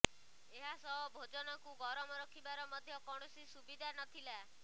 ଏହାସହ ଭୋଜନକୁ ଗରମ ରଖିବାର ମଧ୍ୟ କୌଣସି ସୁବିଧା ନଥିିଲା